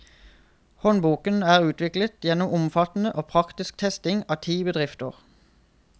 Håndboken er utviklet gjennom omfattende og praktisk testing i ti bedrifter.